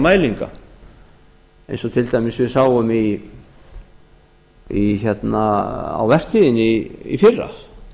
mælinga hérlendis eins og til dæmis við sáum á vertíðinni í fyrra